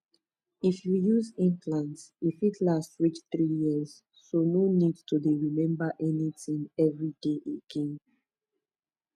if you use implant e fit last reach three years so no need to dey remember anything every day again